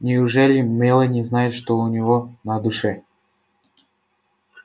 неужели мелани знает что у него на душе